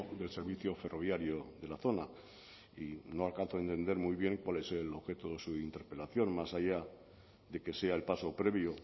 del servicio ferroviario de la zona y no alcanzo a entender muy bien cuál es el objeto de su interpelación más allá de que sea el paso previo